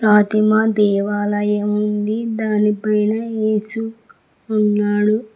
ఫాతిమా దేవాలయం ఉంది దాని పైన ఏసు ఉన్నాడు.